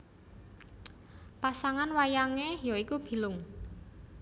Pasangan wayangé ya iku Bilung